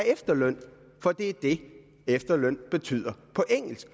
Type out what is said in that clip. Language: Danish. efterløn for det er det efterløn betyder på engelsk